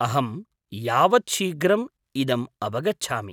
अहं यावत् शीघ्रम् इदम् अवगच्छामि।